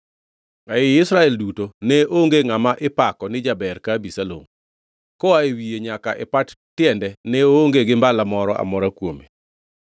Ei Israel duto ne onge ngʼama ipako ni jaber ka Abisalom. Koa e wiye nyaka e pat tiende ne oonge gi mbala moro amora kuome.